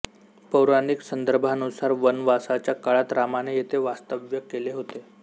पौराणिक संदर्भांनुसार वनवासाच्या काळात रामाने येथे वास्तव्य केले होते